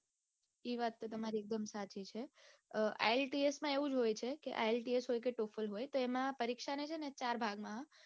એ વાત તો તમારી એકદમ સાચી છે ielts એમાં એવું હોય છે કે ielts હોય કે total હોય તો એમાં પરીક્ષાને છે ને ચાર ભાગમાં